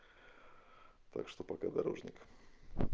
так что пока дорожник